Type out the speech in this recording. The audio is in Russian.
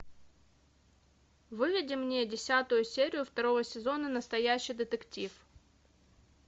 выведи мне десятую серию второго сезона настоящий детектив